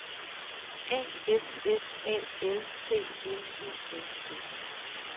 A F S A L T N I N G